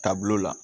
Taabolo la